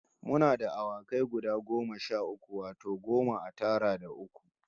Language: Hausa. Muna da awakai guda goma sha uku, wato goma a tara da uku